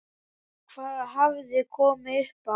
Hvað hafði komið upp á?